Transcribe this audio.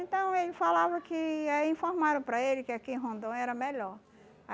Então, ele falava que, aí informaram para ele que aqui em Rondônia era melhor.